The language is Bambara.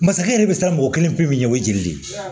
Masakɛ yɛrɛ bɛ siran mɔgɔ kelen pe min ɲɛ o ye jeli de ye